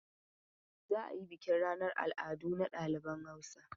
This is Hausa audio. Za a yi bukin ranan al'adu na ɗaliban Hausa.